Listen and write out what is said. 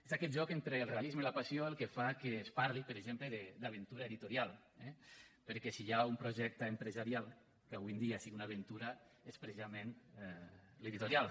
és aquest joc entre el realisme i la passió el que fa que es parli per exemple d’ aventura editorial eh perquè si hi ha un projecte empresarial que avui en dia sigui una aventura és precisament l’editorial